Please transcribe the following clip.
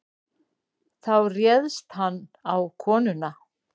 Þá réðst hann á konuna.